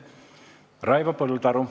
Raivo Põldaru.